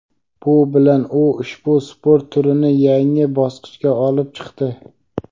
Bu bilan u ushbu sport turini yangi bosqichga olib chiqdi.